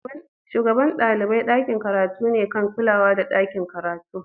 Shugaban dalibain dakin karatu ne kan kulawa da dakin karatun.